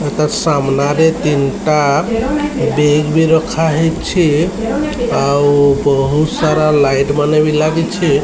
ଆଉ ତା ସାମ୍ନାରେ ତିନଟା ବ୍ୟାଗ୍ ବି ରଖାହେଇଚି। ଆଉ ବହୁତସାରା ଲାଇଟ୍ ମାନେ ବି ଲାଗିଛି ।